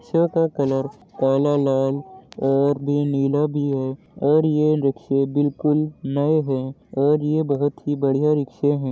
Rickshaw का colour काला लाल और भी नीला भी है और ये रिक्शे बिलकुल नए है और ये बोहोत ही बढ़िया रिक्शे हैं।